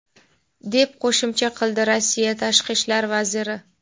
deb qo‘shimcha qildi Rossiya Tashqi ishlar vaziri.